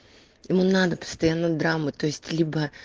ему надо постоянно драмы то есть либо